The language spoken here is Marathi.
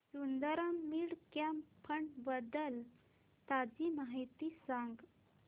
सुंदरम मिड कॅप फंड बद्दल ताजी माहिती सांग